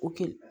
O kɛ